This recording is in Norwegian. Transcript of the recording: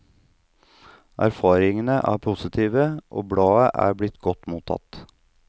Erfaringene er positive, og bladet er blitt godt mottatt.